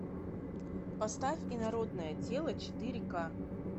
поставь инородное тело четыре ка